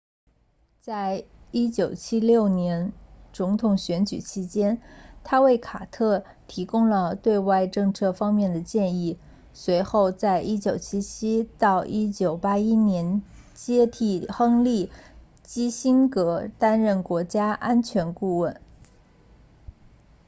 在1976年总统选举期间他为卡特提供了对外政策方面的建议随后在1977到1981年接替亨利基辛格担任国家安全顾问 nsa